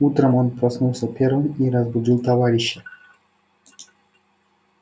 утром он проснулся первым и разбудил товарища